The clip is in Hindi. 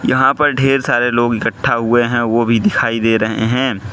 यहां पर ढेर सारे लोग इकट्ठा हुए हैं वो भी दिखाई दे रहे हैं।